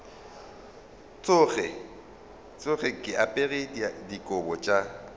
tsoge ke apere dikobo tša